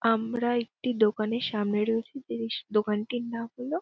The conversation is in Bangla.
আমরা একটি দোকানের সামনে রয়েছি জিনিস দোকানটির নাম হল--